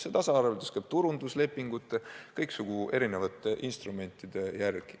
See tasaarveldus käib turunduslepingute järgi, kasutades kõiksugu erinevaid instrumente.